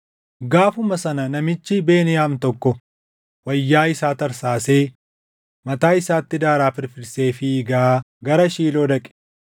Gaafuma sana namichi Beniyaam tokko wayyaa isaa tarsaasee, mataa isaatti daaraa firfirsee fiigaa gara Shiiloo dhaqe.